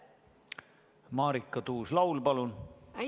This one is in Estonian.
Marika Tuus-Laul, palun!